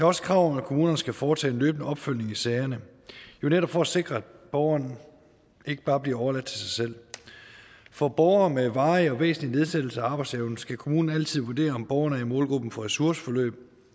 også krav om at kommunerne skal foretage en løbende opfølgning i sagerne netop for at sikre at borgerne ikke bare bliver overladt til sig selv for borgere med varig og væsentlig nedsættelse af arbejdsevnen skal kommunen altid vurdere om borgerne er i målgruppen for ressourceforløb